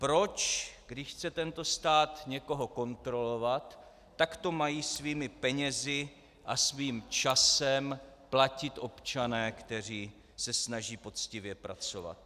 Proč, když chce tento stát někoho kontrolovat, tak to mají svými penězi a svým časem platit občané, kteří se snaží poctivě pracovat?